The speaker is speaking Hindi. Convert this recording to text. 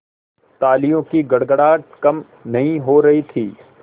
तालियों की गड़गड़ाहट कम नहीं हो रही थी